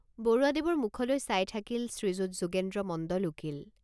বৰুৱাদেৱৰ মুখলৈ চাই থাকিল শ্ৰীযুত যোগেন্দ্ৰ মণ্ডল উকীল।